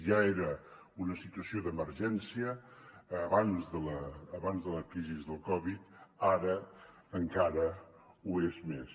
ja era una situació d’emergència abans de la crisi de la covid ara encara ho és més